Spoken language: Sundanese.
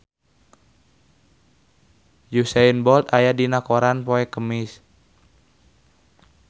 Usain Bolt aya dina koran poe Kemis